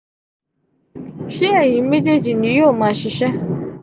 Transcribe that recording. ṣe eyin mejeeji ni yoo maa ṣiṣẹ?